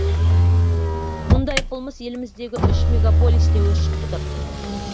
мұндай қылмыс еліміздегі үш мегополисте өршіп тұр